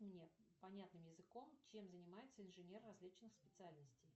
мне понятным языком чем занимаются инженеры различных специальностей